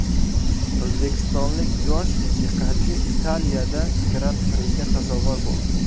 O‘zbekistonlik yosh musiqachi Italiyada Gran-priga sazovor bo‘ldi.